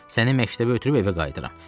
Səni məktəbə ötürüb evə qayıdıram.